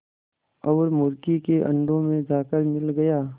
और मुर्गी के अंडों में जाकर मिल गया